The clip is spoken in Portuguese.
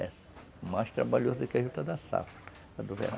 É mais trabalhoso do que a juta da safra, a do verão.